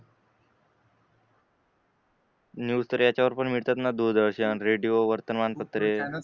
news तर याच्यावर पण भेटतात ना दूरदर्शन रेडिओ वर्तमानपत्रे